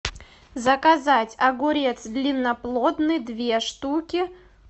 заказать огурец длинноплодный две штуки